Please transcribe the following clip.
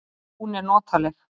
Hún er notaleg.